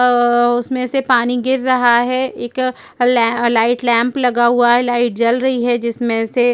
आ अ उसमें से पानी गिर रहा है एक ल लाइट लैंप लगा हुआ है लाइट जल रही है जिसमें से --